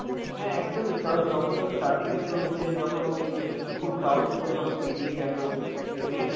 হ্যাঁ, একদমই কারণ যখন ওই starting এ তোর ওই যে যখন ও ওই যে স~ খুব সাহস করে যখন বেরিয়ে গেল ওই train